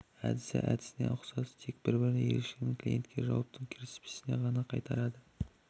әдісі әдісіне ұқсас тек бір ерекшелігі клиентке жауаптың кіріспесін ғана қайтарады